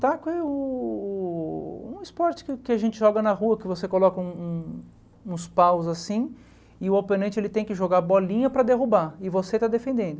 Taco é o o um esporte que a gente joga na rua, que você coloca um um uns paus assim, e o oponente ele tem que jogar bolinha para derrubar, e você está defendendo.